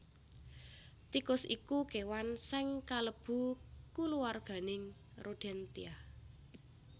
Tikus iku kéwan sing kalebu kulawarganing Rodentia